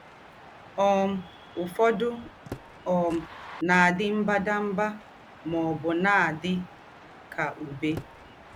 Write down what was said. um Ǔfọdụ um na - àdí mbàdàmbà mà ọ̀bụ̀ na - àdí kà Ǔbé.